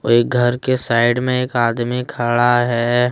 घर के साइड में एक आदमी खड़ा है।